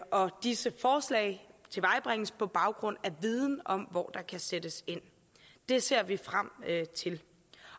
og disse forslag tilvejebringes på baggrund af viden om hvor der kan sættes ind det ser vi frem til